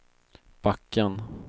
backen